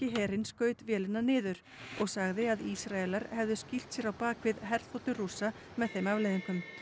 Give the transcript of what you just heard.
herinn skaut vélina niður og sagði að Ísraelar hefðu skýlt sér á bak við herþotu Rússa með þeim afleiðingum